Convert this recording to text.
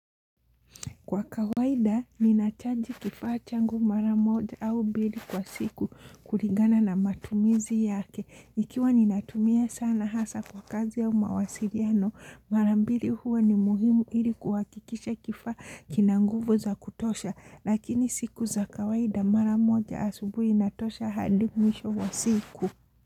Kwa kawaida, ninachaji kifaa changu mara moja au mbili kwa siku kulingana na matumizi yake. Ikiwa ninatumia sana hasa kwa kazi au mawasiliano, mara mbili huwa ni muhimu ili kuhakikisha kifa kina nguvu za kutosha. Lakini siku za kawaida mara moja asubuhi inatosha hadi mwisho wa siku.